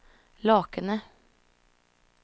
Lakene